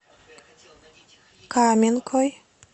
каменкой